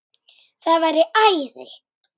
Það væri æði